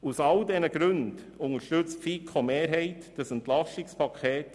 Aus all diesen Gründen unterstützt die FiKo-Mehrheit dieses EP.